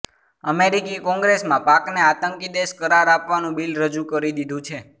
અમેરિકી કોંગ્રેસમાં પાકને આતંકી દેશ કરાર આપવાનુ બિલ રજુ કરી દીધુ છે